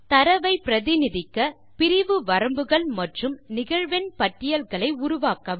தரவை பிரதிநிதிக்க பிரிவு வரம்புகள் மற்றும் நிகழ்வெண் பட்டியல்களை உருவாக்கவும்